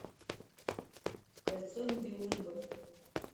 кольцо нибелунгов